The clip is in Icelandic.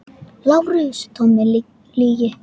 LÁRUS: Tóm lygi!